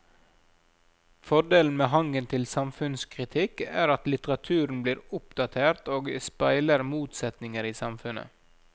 Fordelen med hangen til samfunnskritikk er at litteraturen blir oppdatert og speiler motsetninger i samfunnet.